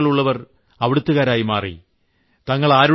ഭാരതത്തിൽ വേരുകൾ ഉള്ളവർ അവിടുത്തുകാരായി മാറി